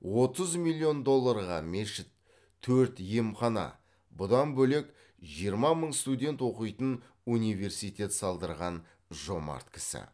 отыз миллион долларға мешіт төрт емхана бұдан бөлек жиырма мың студент оқитын университет салдырған жомарт кісі